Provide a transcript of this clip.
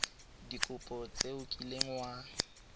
dikopo tse o kileng wa